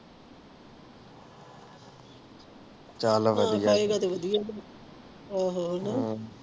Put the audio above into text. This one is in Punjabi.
ਧਿਆਨ ਨਾਲ ਵਧੀਆ ਆਹੋ